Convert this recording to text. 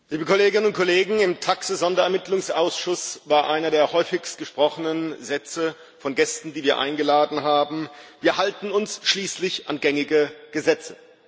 Frau Präsidentin, liebe Kolleginnen und Kollegen! Im TAXE Sonderermittlungsausschuss war einer der am häufigsten gesprochenen Sätze von Gästen, die wir eingeladen haben Wir halten uns schließlich an gängige Gesetze.